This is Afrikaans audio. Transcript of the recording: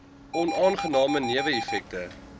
onaangename newe effekte